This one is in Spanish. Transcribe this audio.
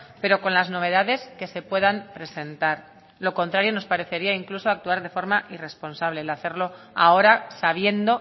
pero con las novedades que se puedan presentar lo contrario nos parecería incluso actuar de forma irresponsable el hacerlo ahora sabiendo